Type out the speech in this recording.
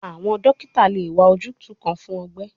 Awọn dokita le wa ojutu kan fun ọgbẹ